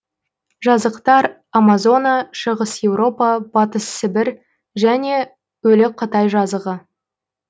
жазықтар амазона шығыс еуропа батыс сібір және өлі қытай жазығы